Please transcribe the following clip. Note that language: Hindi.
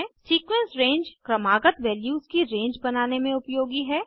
सीक्वेंस रंगे क्रमागत वैल्यूज की रेंज बनाने में उपयोगी है